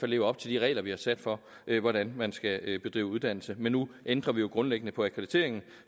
lever op til de regler vi har sat for hvordan man skal bedrive uddannelse men nu ændrer vi jo grundlæggende på akkrediteringen